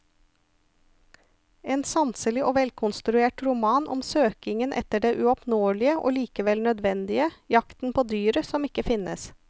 En sanselig og velkonstruert roman om søkingen etter det uoppnåelige og likevel nødvendige, jakten på dyret som ikke finnes.